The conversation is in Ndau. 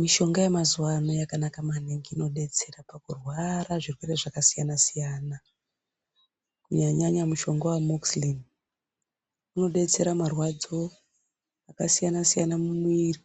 Mishonga yemazuwaano yakanaka maningi ,inodetsera pakurwara zvirwere zvakasiyana-siyana , kunyanya nyanya mushonga weamokisilini, inodetsera marwadzo akasiyana-siyana mumwiiri.